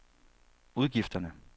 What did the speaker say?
udgifterne